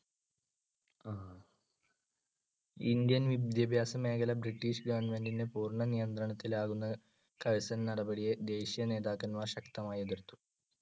Indian വിദ്യാഭ്യാസമേഖല British government ന്‍ടെ പൂർണനിയന്ത്രണത്തിലാകുന്ന കഴ്സൺ നടപടിയെ ദേശീയനേതാക്കന്മാർ ശക്തമായി എതിർത്തു.